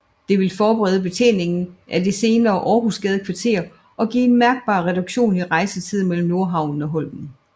Det ville forbedre betjeningen af det senere Århusgadekvarteret og give en mærkbar reduktion i rejsetiden mellem Nordhavnen og Holmen